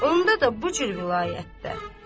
Onda da bu cür vilayətdə.